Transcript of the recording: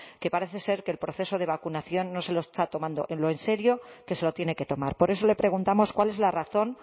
que parece ser que el proceso de vacunación no se lo está tomando lo serio que se lo tiene que tomar por eso le preguntamos cuál es la razón